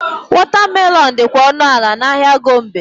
Watermelon dịkwa ọnụ ala n'ahịa Gombe.